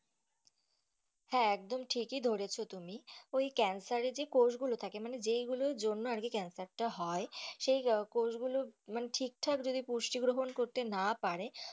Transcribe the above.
হ্যাঁ ঠিক এ ধরেছো তুমি ওই ক্যান্সারের যে কোষ গুলো থাকে মানে যেই গুলোর জন্য আর কি ক্যান্সারটা হয় সেই কোষ গুলো মানে ঠিক ঠাক পুষ্টি গ্রহণ করতে না পারে।